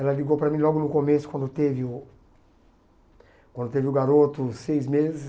Ela ligou para mim logo no começo, quando teve o quando teve o garoto, seis meses.